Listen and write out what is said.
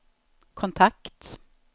kontakt